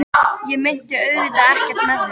Ég meinti auðvitað ekkert með því.